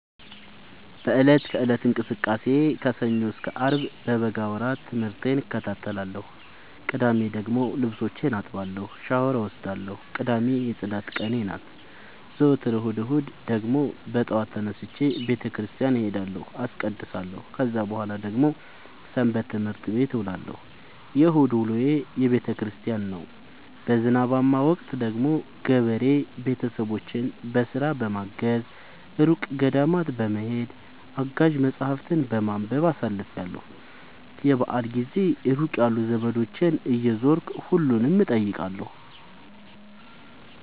በእለት ከእለት እንቅስቃሴዬ ከሰኞ እስከ አርብ በበጋ ወራት ትምህርቴን እከታተላለሁ። ቅዳሜ ደግሞ ልብሶቼን አጥባለሁ ሻውር እወስዳለሁ ቅዳሜ የፅዳት ቀኔ ናት። ዘወትር እሁድ እሁድ ደግሞ በጠዋት ተነስቼ በተክርስቲያን እሄዳለሁ አስቀድሳሁ። ከዛ በኃላ ደግሞ ሰበትምህርት ቤት እውላለሁ የእሁድ ውሎዬ ቤተክርስቲያን ነው። በዝናባማ ወቅት ደግሞ ገበሬ ቤተሰቦቼን በስራ በማገ፤ እሩቅ ገዳማት በመሄድ፤ አጋዥ መፀሀፍትን በማንበብ አሳልፍለሁ። የበአል ጊዜ ሩቅ ያሉ ዘመዶቼን እየዞርኩ እጠይቃለሁ።